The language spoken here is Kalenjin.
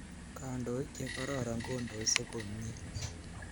Kandoik che kororon kondoisei komnye.